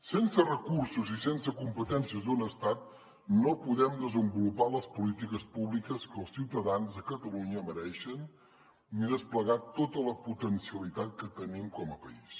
sense recursos i sense competències d’un estat no podem desenvolupar les polítiques públiques que els ciutadans de catalunya mereixen ni desplegar tota la potencialitat que tenim com a país